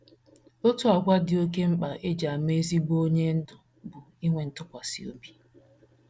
OTU àgwà dị oké mkpa e ji ama ezigbo onye ndú bụ ikwesị ntụkwasị obi.